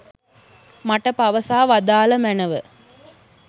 මට පවසා වදාළ මැනව.